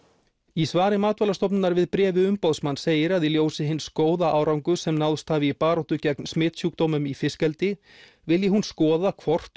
í svari Matvælastofnunar við bréfi umboðsmanns segir að í ljósi hins góða árangurs sem náðst hafi í baráttu gegn smitsjúkdómum í fiskeldi vilji hún skoða hvort